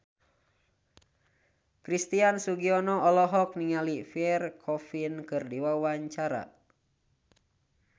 Christian Sugiono olohok ningali Pierre Coffin keur diwawancara